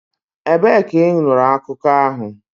Ebee ka ị nụrụ akụkọ ahụ?